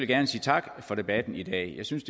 gerne sige tak for debatten i dag jeg synes